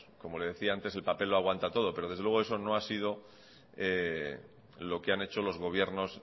como le decía antes el papel lo aguanta todo pero desde luego eso no ha sido lo que han hecho los gobiernos